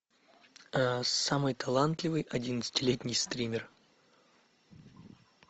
самый талантливый одиннадцатилетний стример